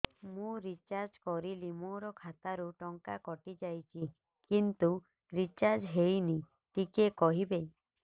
ମୁ ରିଚାର୍ଜ କରିଲି ମୋର ଖାତା ରୁ ଟଙ୍କା କଟି ଯାଇଛି କିନ୍ତୁ ରିଚାର୍ଜ ହେଇନି ଟିକେ କହିବେ